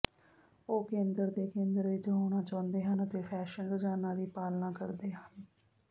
ਉਹ ਕੇਂਦਰ ਦੇ ਕੇਂਦਰ ਵਿੱਚ ਹੋਣਾ ਚਾਹੁੰਦੇ ਹਨ ਅਤੇ ਫੈਸ਼ਨ ਰੁਝਾਨਾਂ ਦੀ ਪਾਲਣਾ ਕਰਦੇ ਹਨ